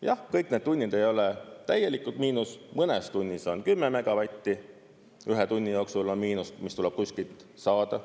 Jah, kõik need tunnid ei ole täielikult miinus, mõnes tunnis on 10 megavatti, ühe tunni jooksul on miinust, mis tuleb kuskilt saada.